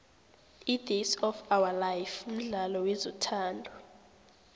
idays of ourlife mdlalo wezothando